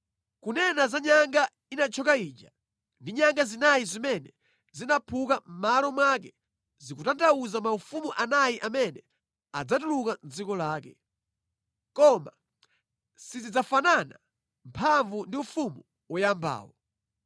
Kunena za nyanga inathyoka ija ndi nyanga zinayi zimene zinaphuka mʼmalo mwake zikutanthauza maufumu anayi amene adzatuluka mʼdziko lake; koma sizidzafanana mphamvu ndi ufumu woyambawo.